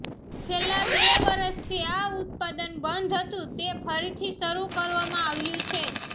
છેલ્લા બે વર્ષથી આ ઉત્પાદન બંધ હતું તે ફરીથી શરૂ કરવામાં આવ્યું છે